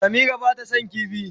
Samira ba ta son kifi.